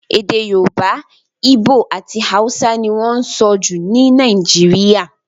Èdè Yorùbá, Igbo àti Hausa ni wọ́n sọ jù ní Nàìjíríà.